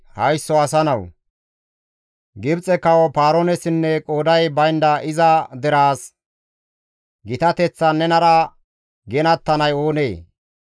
«Haysso asa nawu! Gibxe kawo Paaroonessinne qooday baynda iza deraas, « ‹Gitateththan nenara ginattanay oonee?